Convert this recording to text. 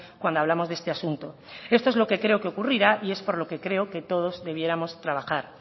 cuando hablamos de este asunto esto es lo que creo que ocurrirá y es por lo que creo que todos debiéramos trabajar